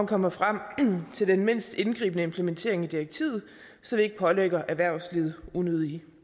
komme frem til den mindst indgribende implementering af direktivet så det ikke pålægger erhvervslivet unødige